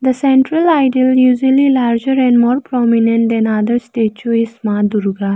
the central idol usually larger and more prominent than other statue is maa durga.